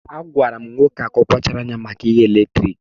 Agwara m nwa nwoke ahụ ka ọ kpachara anya maka oghere eletrik.